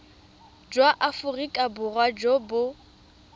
jwa aforika borwa jo bo